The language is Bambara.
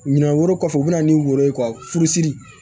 Ɲinan wɛrɛ kɔfɛ u bɛna ni woro ye ka furusiri